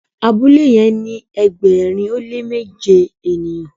abule ni ẹgbẹrin o le méje ènìyàn